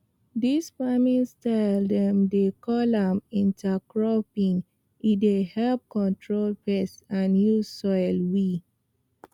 dis farming style dem dey call am intercropping e dey help control pests and use soil we